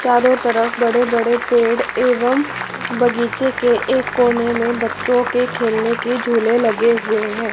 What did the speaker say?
चारों तरफ बड़े-बड़े पेड़ एवं बगीचे के एक कोने में बच्चों के खेलने के झूले लगे हुए हैं।